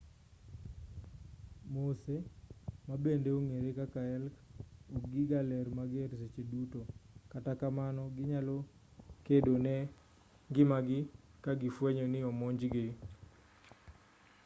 moose ma bende ong'ere kaka elk okgi ga lee mager seche duto kata kamano ginyalo kedo ne ngimagi ka gifwenyo ni omonjgi